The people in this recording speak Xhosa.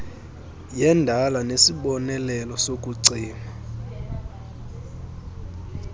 yendala nesibonelelo sokucima